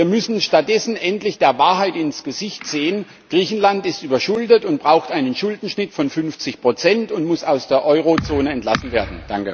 Wir müssen stattdessen endlich der Wahrheit ins Gesicht sehen Griechenland ist überschuldet und braucht einen Schuldenschnitt von 50 und muss aus der Eurozone entlassen werden.